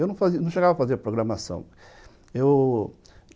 Eu não chegava a fazer programação.